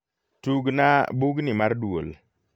tugna bugni mar duol